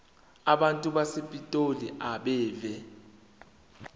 abantu basepitoli abeve